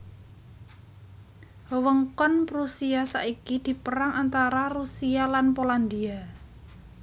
Wewengkon Prusia saiki dipérang antara Rusia lan Polandia